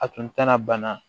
A tun tɛna bana